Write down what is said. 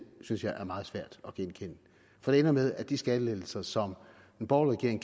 synes jeg er meget svært at genkende for det ender med at de skattelettelser som den borgerlige